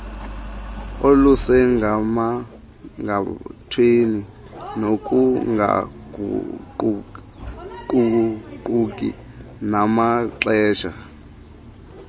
olusemgangathweni nokungaguquguquki namaxesha